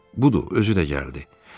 Budur, özü də gəldi.